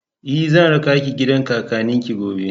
E, zan raka ki gidan kakannin ki gobe.